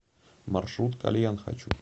маршрут кальян хочу